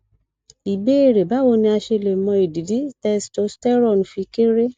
ìbéèrè bawo ni a se le mọ idi ti testosterone fi kere